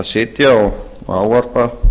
sitja og ávarpa